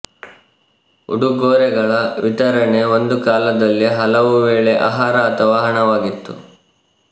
ಉಡುಗೊರೆಗಳ ವಿತರಣೆ ಒಂದು ಕಾಲದಲ್ಲಿ ಹಲವುವೇಳೆ ಆಹಾರ ಅಥವಾ ಹಣವಾಗಿತ್ತು